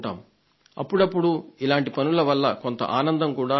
అప్పుడప్పుడు ఇలాంటి పనుల వల్ల కొంత ఆనందం కలుగుతుంది